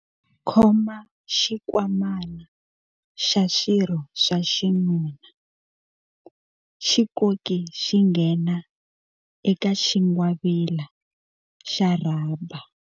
Khoma xinkwamana xa swirho swa xinuna, xi koki xi nghena eka xingwavila xa rhaba.